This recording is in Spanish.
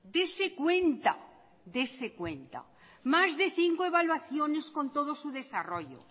dese cuenta dese cuenta más de cinco evaluaciones con todo su desarrollo